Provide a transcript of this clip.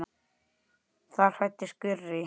Þar fæddist Gurrý.